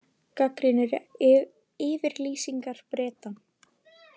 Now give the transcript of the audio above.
Gagnrýnir yfirlýsingar Breta